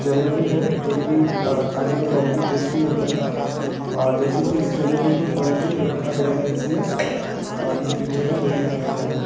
जलेबी है जोकि अ खाने मे बोहोत ही टेस्टी होता है अ जैसे की इस जलेबी को तल के रखा गया है इसमे अ इस पिक्चर मे वही दिखाया जा रहा है।